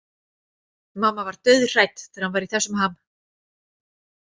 Mamma var dauðhrædd þegar hann var í þessum ham.